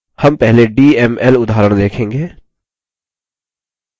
हम पहले dml उदाहरण देखेंगे